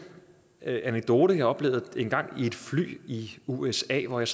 anekdote jeg oplevede en gang i et fly i usa hvor jeg